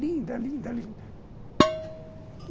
Linda, linda, linda.